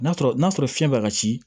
N'a sɔrɔ n'a sɔrɔ fiɲɛ b'a ka ci